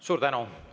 Suur tänu!